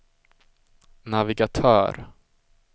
navigatör